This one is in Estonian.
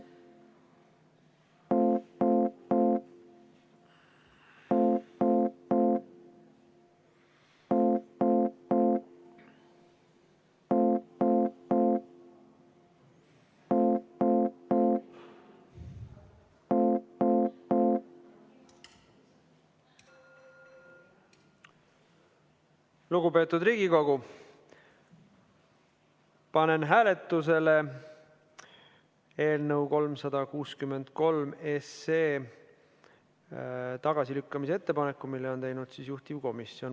Lugupeetud Riigikogu, panen hääletusele eelnõu 363 tagasilükkamise ettepaneku, mille on teinud juhtivkomisjon.